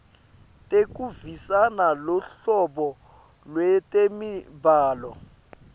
tekuvisisa luhlobo lwetemibhalo